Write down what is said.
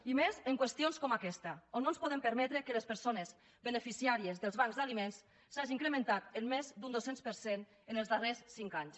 i més en qüestions com aquesta on no ens podem permetre que les persones beneficiàries dels bancs d’aliments s’hagin incrementat en més d’un dos cents per cent en els darrers cinc anys